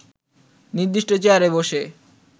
নির্দিষ্ট চেয়ারে বসে